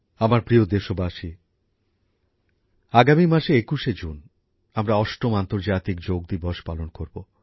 আমার প্রিয় দেশবাসী আগামী মাসে ২১শে জুন আমরা অষ্টম আন্তর্জাতিক যোগ দিবস পালন করবো